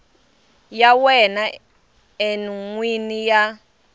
ya wena n wini ya